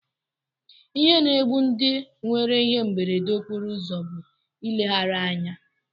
Ihe na-egbu ndị nwere ihe mberede okporoụzọ bụ nleghara anya